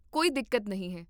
ਕੋਈ ਦਿੱਕਤ ਨਹੀਂ ਹੈ